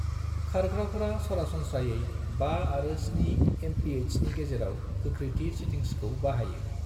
खारग्राफोरा सरासनस्रायै 5 आरो 7 एमपिएचनि गेजेराव गोख्रैथि सेटिंग्सखौ बाहायो।